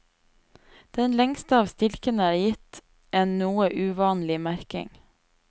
Den lengste av stilkene er gitt en noe uvanlig merking.